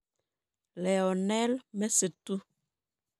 Leonel Messi 2.